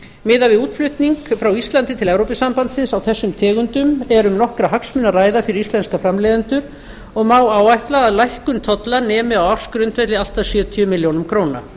miðað við útflutning frá íslandi til evrópusambandsins á þessum tegundum er um nokkra hagsmuni að ræða fyrir íslenska framleiðendur og má áætla að lækkun tolla nemi á ársgrundvelli allt að sjötíu milljónum króna